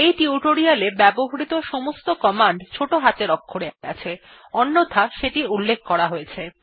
এই টিউটোরিয়ালটিতে ব্যবহৃত সমস্ত র্নিদেশাবলী ছোট হাতের অক্ষরে আছে অন্যথায় সেটি উল্লেখ করা হয়েছে